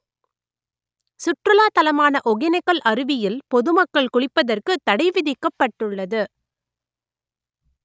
சுற்றுலாத் தலமான ஒகேனக்கல் அருவியில் பொதுமக்கள் குளிப்பதற்குத் தடை விதிக்கப்பட்டுள்ளது